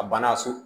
A banna so